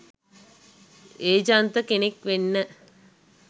ඒජන්ත කෙනෙක් වෙන්න